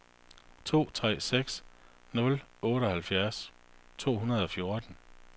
to tre seks nul otteoghalvtreds to hundrede og fjorten